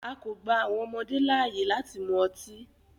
A kò gba àwọn ọmọdé láàyè láti mu ọtí.